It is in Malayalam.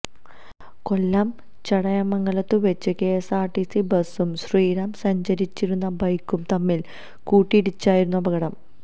കൊല്ലം ചടയമംഗലത്തുവച്ച് കെഎസ്ആർടിസി ബസും ശ്രീറാം സഞ്ചരിച്ചിരുന്ന ബൈക്കും തമ്മിൽ കൂട്ടിയിടിച്ചായിരുന്നു അപകടം